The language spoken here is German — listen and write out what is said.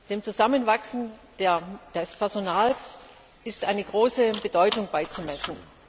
Dem Zusammenwachsen des Personals ist eine große Bedeutung beizumessen.